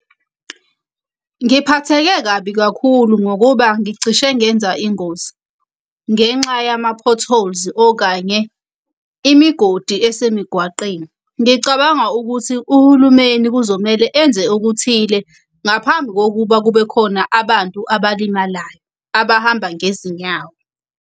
Ngiphatheke kabi kakhulu ngokuba ngicishe ngenza ingozi ngenxa yama-potholes okanye imigodi esemigwaqeni. Ngicabanga ukuthi uhulumeni kuzomele enze okuthile ngaphambi kokuba kube khona abantu abalimalayo abahamba ngezinyawo.